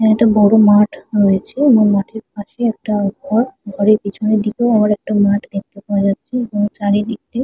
একটা বড় মাঠ রয়েছে এবং মাঠের পাশে একটা ঘর ঘরের পেছনে দিকেও একটা মাঠ দেখতে পাওয়া যাচ্ছে এবং চারিদিক দিয়ে।